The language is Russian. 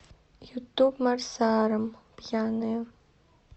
ютуб марсарам пьяные